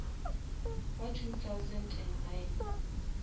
wa two thousand and nine